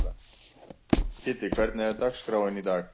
Kiddi, hvernig er dagskráin í dag?